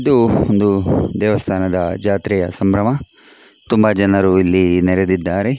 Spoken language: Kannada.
ಇದು ಒಂದು ದೇವಸ್ಥಾನದ ಜಾತ್ರೆಯ ಸಂಭ್ರಮ ತುಂಬಾ ಜನರು ಇಲ್ಲಿ ನೆರೆದಿದ್ದಾರೆ .